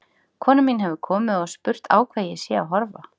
Kona mín hefur komið og spurt á hvað ég sé að horfa.